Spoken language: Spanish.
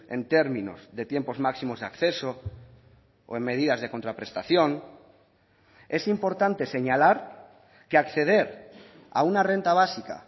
en términos de tiempos máximos de acceso o en medidas de contraprestación es importante señalar que acceder a una renta básica